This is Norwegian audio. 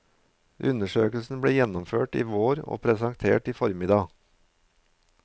Undersøkelsen ble gjennomført i vår og presentert i formiddag.